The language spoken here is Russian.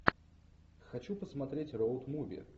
хочу посмотреть роуд муви